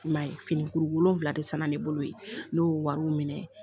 I m'a ye finikuru wolonfila de san na, ne bolo yen, ne y'o wariw minɛ.